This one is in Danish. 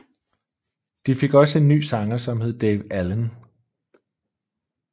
De fik også en ny sanger som hed Dave Allen